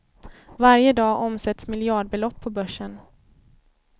Varje dag omsätts miljardbelopp på börsen.